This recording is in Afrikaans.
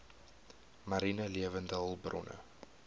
mariene lewende hulpbronne